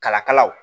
Kala kala kala